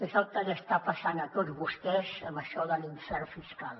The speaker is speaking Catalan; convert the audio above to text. és el que els hi està passant a tots vostès amb això de l’infern fiscal